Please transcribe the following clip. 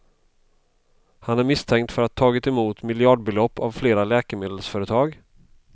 Han är misstänkt för att ha tagit emot miljardbelopp av flera läkemedelsföretag.